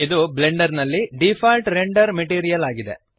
ಇದು ಬ್ಲೆಂಡರ್ ನಲ್ಲಿ default render material ಆಗಿದೆ